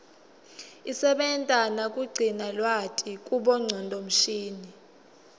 isebenta nakugcina lwati kubongcondo mshini